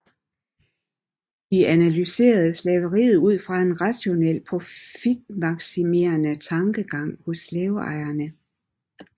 De analyserede slaveriet ud fra en rationel profitmaksimerende tankegang hos slaveejerne